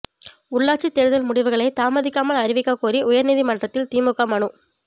உள்ளாட்சித் தோ்தல் முடிவுகளை தாமதிக்காமல் அறிவிக்கக் கோரி உயா்நீதிமன்றத்தில் திமுக மனு